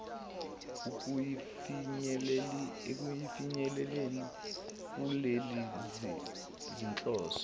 ekufinyeleleni kulezi zinhloso